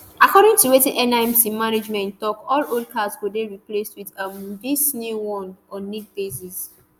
according to wetin nimc management tok all old cards go dey replaced wit um dis new one on need basis